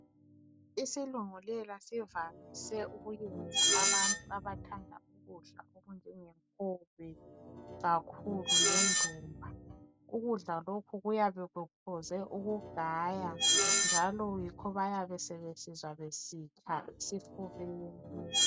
Isilungulela sivamise ukuyenza abantu abathanda ukudla okunjenge nkobe kakhulu lendumba ukudla lokhu kuyabe kufuze ukugaya njalo yikho bayabe besizwa besitsha esifubeni.